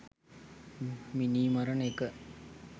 මිනීමරණ එක